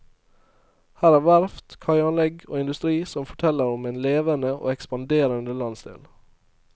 Her er verft, kaianlegg og industri som forteller om en levende og ekspanderende landsdel.